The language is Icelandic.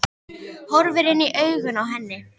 Horfir inn í augun á henni.